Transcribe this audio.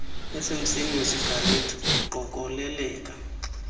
esemsini wesigarethi uqokoleleka